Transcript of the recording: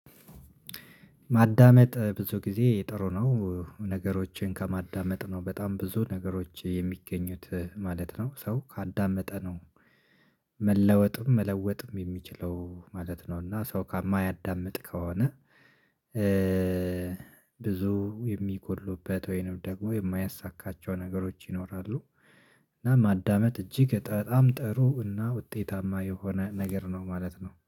ማዳመጥ ብዙ ጊዜ ጥሩ ነው። ነገሮችን ከማዳመጥ ነው በጣም ብዙ ነገሮች የሚገኙት ማለት ነው። ሰው ካዳመጠ ነው መለወጥም መለወጥም የሚችለው ማለት ነው። እና ሰው ማያዳምጥ ከሆነ። ብዙ የሚጎድሉበት ወይንም ደግሞ የማያሳካቸው ነገሮች ይኖራሉ። እና ማዳመጥ እጅግ በጣም ጥሩ እና ውጤታማ የሆነ ነገር ነው ማለት ነው